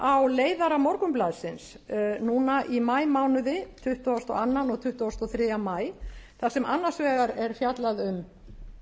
benda á leiðara morgunblaðsins núna í maímánuði tuttugasta og öðrum og tuttugasta og þriðja maí þar sem annars vegar er fjallað um